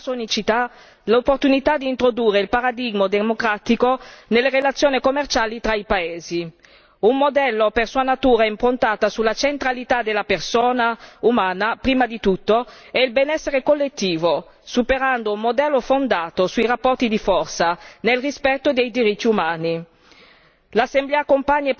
La struttura di quest'organo offre nella sua unicità l'opportunità di introdurre il paradigma democratico nelle relazioni commerciali tra i paesi, un modello per sua natura improntato sulla centralità della persona umana, prima di tutto, e sul benessere collettivo, superando un modello fondato sui rapporti di forza nel rispetto dei diritti umani.